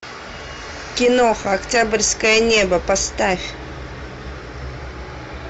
киноха октябрьское небо поставь